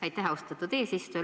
Aitäh, austatud eesistuja!